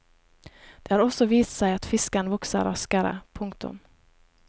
Det har også vist seg at fisken vokser raskere. punktum